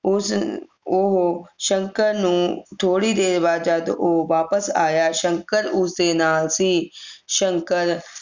ਉਸ ਉਹੋ ਸ਼ੰਕਰ ਨੂੰ ਥੋੜੀ ਦੇਰ ਬਾਅਦ ਜਦ ਉਹ ਵਾਪਿਸ ਆਇਆ ਸ਼ੰਕਰ ਉਸ ਦੇ ਨਾਲ ਸੀ ਸ਼ੰਕਰ